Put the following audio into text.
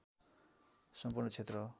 सम्पूर्ण क्षेत्र हो